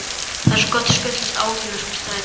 Það er svo gott að skutlast áhyggjulaus með strætó.